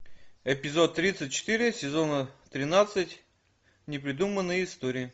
эпизод тридцать четыре сезона тринадцать непридуманные истории